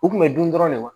U kun bɛ dun dɔrɔn de wa